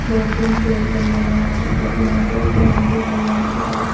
दो तीन पेड़ लगे हुए हैं और यहां पे एक ग्राउंड भी हैं ग्राउंड के पास--